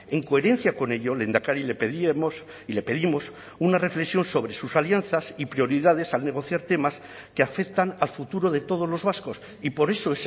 en coherencia con ello lehendakari le pedíamos y le pedimos una reflexión sobre sus alianzas y prioridades al negociar temas que afectan al futuro de todos los vascos y por eso